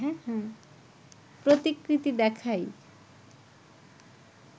প্রতিকৃতি দেখাই